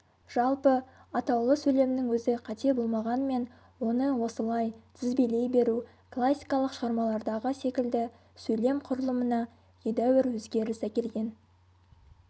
жалпы атаулы сөйлемнің өзі қате болмағанмен оны осылай тізбелей беру классикалық шығармалардағы секілді сөйлем құрылымына едәуір өзгеріс әкелген